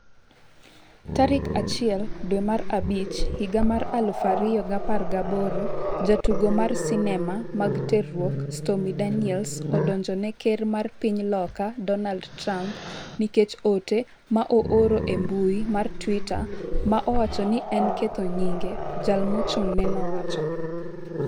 tarik achiel dwe mar abich higa mar aluf ariyo gi apar gi aboro Jatugo mar sinema mag terruok Stormy Daniels odonjone ker mar piny Loka Donald Trump nikech ote ma ooro e mbui mar Twitter ma owacho ni en ketho nyinge, jal mochung'ne nowacho.